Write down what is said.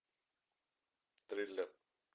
триллер